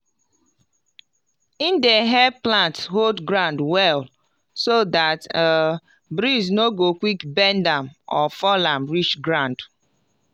e dey help plant hold ground well so dat um breeze no go quick bend am or fall am reach ground